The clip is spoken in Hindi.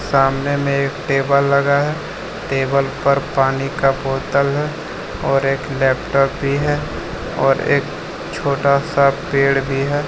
सामने में एक टेबल लगा है टेबल पर पानी का बोतल है और एक लैपटॉप भी है और एक छोटा सा पेड़ भी है।